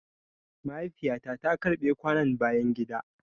Mahaifiya ta ta karɓe kwanon bayan gida.